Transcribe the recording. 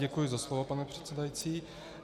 Děkuji za slovo, pane předsedající.